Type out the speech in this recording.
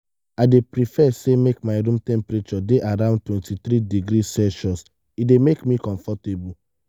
i dey prefer say make my room temperature dey around 23 degrees celsius e dey make me comfortable.